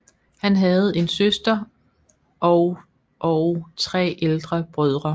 Han havde en søster og og tre ældre brødre